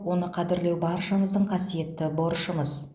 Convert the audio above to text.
оны қадірлеу баршамыздың қасиетті борышымыз